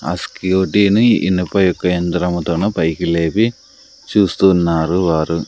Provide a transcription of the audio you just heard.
ఆ స్కూటీని ఇనుప యొక్క యంత్రముతోనా పైకి లేపి చూస్తూ ఉన్నారు వారు.